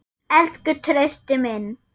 Elsku Trausti minn.